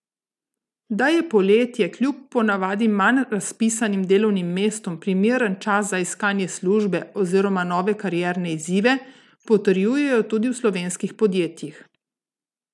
Da je poletje kljub po navadi manj razpisanim delovnim mestom primeren čas za iskanje službe oziroma nove karierne izzive, potrjujejo tudi v slovenskih podjetjih.